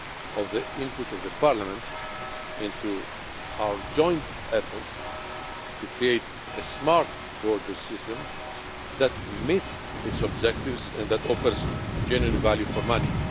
of the input of Parliament into our joint efforts to create a smart borders system that meets its objectives and that offers genuine value for money.